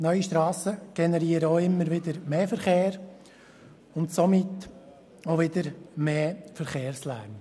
Neue Strassen generieren auch immer wieder mehr Verkehr und somit auch mehr Verkehrslärm.